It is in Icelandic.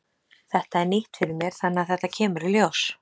Þetta er nýtt fyrir mér þannig að þetta kemur í ljós.